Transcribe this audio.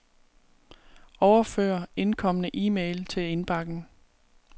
Overfør indkomne e-mail til indbakken.